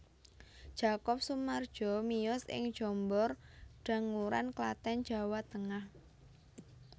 Jakob Sumardjo miyos ing Jombor Danguran Klaten Jawa Tengah